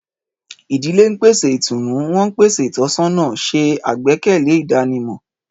Ìdílé ń pèsè ìtùnú, wọ́n ń pèsè ìtọ́sọ́nà, ṣe àgbékalẹ̀ ìdánimọ̀.